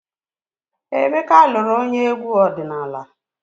Emeka lụrụ onye egwu ọdịnala.